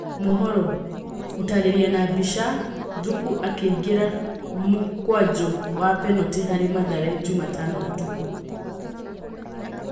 (Mohoro) gũtarĩria na mbica, Thuku akĩingĩria mũkwanjũ wa penatĩ harĩ Mathare Jumatano ũtukũ.